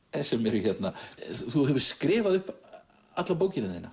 sem eru hérna þú hefur skrifað upp alla bókina þína